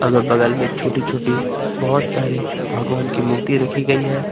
अगर बगल में छोटी छोटी बहोत सारे भगवान की मूर्ति रखी गई है।